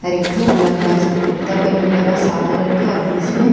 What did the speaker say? हर एकठो लम्बा एसन कुर्ता पेन्हईले बा सादा रंग के आ बिच में --